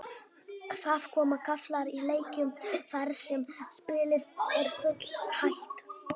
Það koma kaflar í leikjum þar sem spilið er full hægt.